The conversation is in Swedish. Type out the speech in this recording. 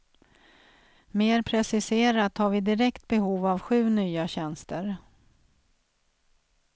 Mer preciserat har vi direkt behov av sju nya tjänster.